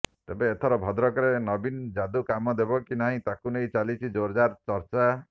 ତେବେ ଏଥର ଭଦ୍ରକରେ ନବୀନ ଯାଦୁ କାମ ଦେବ କି ନାହିଁ ତାହାକୁ ନେଇ ଚାଲିଛି ଜୋରଦାର ଚର୍ଚ୍ଚା